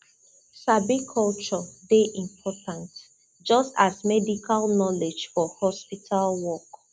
sabi culture dey important just as medical knowledge for hospital work